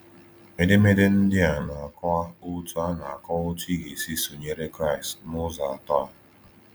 Edemede ndị a na-akọwa otú a na-akọwa otú ị ga-esi sụnyere Kraịst n’ụzọ atọ a.